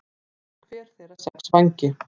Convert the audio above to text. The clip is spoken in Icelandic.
Hafði hver þeirra sex vængi.